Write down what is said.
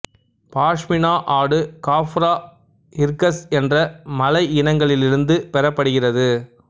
பாஷ்மினா ஆடு காப்ரா ஹிர்கஸ் என்ற மலை இனங்களிலிருந்து பெறப்படுகிறது